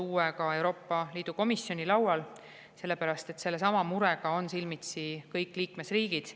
See on uue Euroopa Komisjoni laual, sellepärast et sellesama murega on silmitsi kõik liikmesriigid.